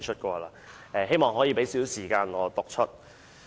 我希望花少許時間讀出。